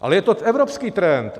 Ale je to evropský trend.